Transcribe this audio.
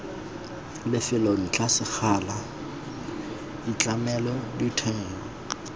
lefelo ntlha sekgala ditlamelo ditheo